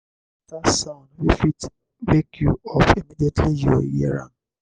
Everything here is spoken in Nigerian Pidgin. choose better better sound wey fit wake you up immediately you hear am